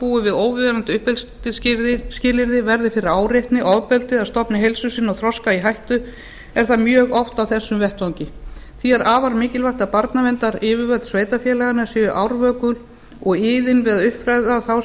búi við óviðunandi uppeldisskilyrði verði fyrir áreitni ofbeldi eða stofni heilsu sinni og þroska í hættu er það mjög oft á þessum vettvangi því er afar mikilvægt að barnaverndaryfirvöld sveitarfélaganna séu árvökul og iðin við að uppfræða þá sem